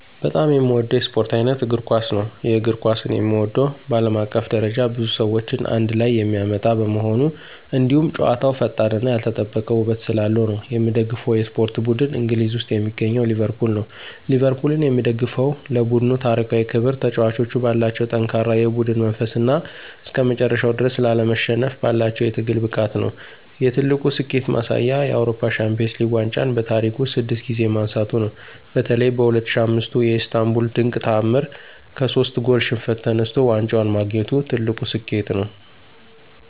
በጣም የምወደው የስፖርት ዓይነት እግር ኳስ ነው። የእግር ኳስን የምወደው በዓለም አቀፍ ደረጃ ብዙ ሰዎችን አንድ ላይ የሚያመጣ በመሆኑ፣ እንዲሁም ጨዋታው ፈጣንነትና ያልተጠበቀ ውበት ስላለው ነው። የምደግፈው የስፖርት ቡድን እንግሊዝ ውስጥ የሚገኘው ሊቨርፑል ነው። ሊቨርፑልን የምደግፈው ለቡድኑ ታሪካዊ ክብር፣ ተጫዋቾቹ ባላቸው ጠንካራ የቡድን መንፈስና እስከመጨረሻው ድረስ ላለመሸነፍ ባላቸው የትግል ብቃት ነው። የትልቁ ስኬቱ ማሳያ የአውሮፓ ሻምፒዮንስ ሊግ ዋንጫን በታሪክ ውስጥ ስድስት ጊዜ ማንሳቱ ነው። በተለይ በ2005ቱ የኢስታንቡል ድንቅ ተዓምር ከሶስት ጎል ሽንፈት ተነስቶ ዋንጫውን ማግኘቱ ትልቁ ስኬቱ ነው።